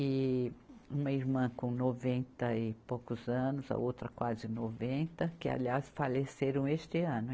E uma irmã com noventa e poucos anos, a outra quase noventa, que aliás faleceram este ano.